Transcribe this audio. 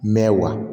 Mɛ wa